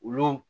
Olu